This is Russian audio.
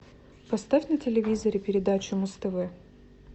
поставь на телевизоре передачу муз тв